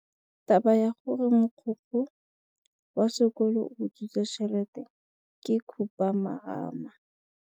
Taba ya gore mogokgo wa sekolo o utswitse tšhelete ke khupamarama.